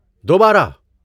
دوبارہ؟